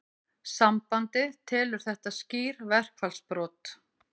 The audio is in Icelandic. Sambandið telur þetta skýr verkfallsbrot